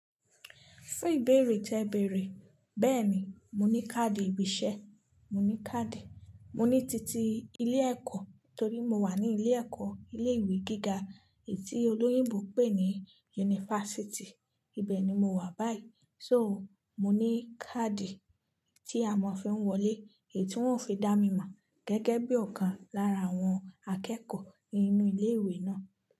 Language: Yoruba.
Fún ìbéèrè tẹ bèèrè, bẹ́ẹ̀ni, mo ní káàdì ibi iṣẹ́, mo ní káàdì, mo ní títí ilé ẹ̀kọ́ torí mo wà ní ilé ẹ̀kọ́, ilé ìwé gíga èyiti olóyìnbó pè ní yunifásítì, ibẹ̀ ni mo wà báyìí. So mo ní káàdì tí a ma fi wọlé eyiti wọn ò fi dá mi mọ gẹ́gẹ́ bí ọ̀kan lára àwọn akẹ́kọ̀ọ́ ninú ilé ìwé náà.